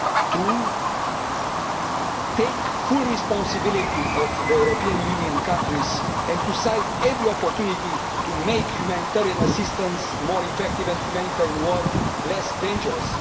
to take full responsibility for the European Union countries and to seize every opportunity to make humanitarian assistance more effective and humanitarian work less dangerous.